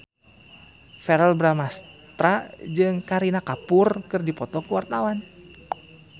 Verrell Bramastra jeung Kareena Kapoor keur dipoto ku wartawan